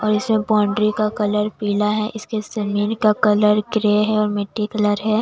और इसे बाउंड्री का कलर पीला है इसके जमीन का कलर ग्रे है और मिट्टी कलर है।